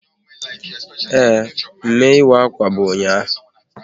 Ee, mme ịwa akwa bụ ụnyaahụ